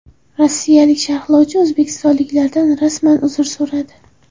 Rossiyalik sharhlovchi o‘zbekistonliklardan rasman uzr so‘radi.